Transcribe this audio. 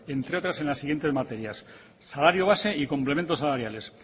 entre otras en las siguientes materias salario base y complementos salariales